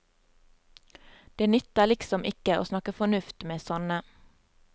Det nytter liksom ikke å snakke fornuft med sånne.